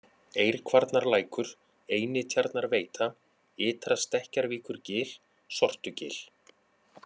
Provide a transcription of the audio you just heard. Eirkvarnarlækur, Einitjarnarveita, Ytra-Stekkjarvíkurgil, Sortugil